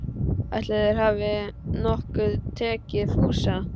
Ætli þeir hafi nokkuð tekið Fúsa.